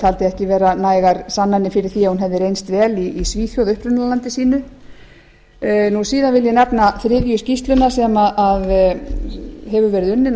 taldi ekki vera nægar sannanir fyrir því að hún hefði reynst vel í svíþjóð upprunalandi sínu síðan vil ég bera þriðju skýrsluna sem hefur verið unnin á